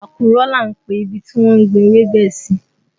Àkùrọ̀ là ń pe ibi tí wọ́n ń gbin ewébẹ̀ sí